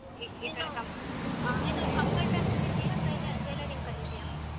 ನೀನು computer ಕಲೀತೀಯ tai~ tailoring ಕಲೀತೀಯ?